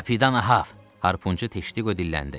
Kapitan Ahav, Harpunçu Teştiqo dilləndi.